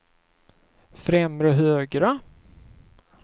främre högra